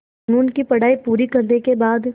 क़ानून की पढा़ई पूरी करने के बाद